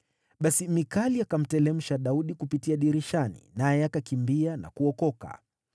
Basi Mikali akamteremsha Daudi kupitia dirishani, naye akakimbia na kuokoka.